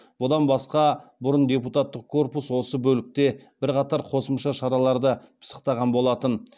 бұдан басқа бұрын депутаттық корпус осы бөлікте бірқатар қосымша шараларды пысықтаған болатын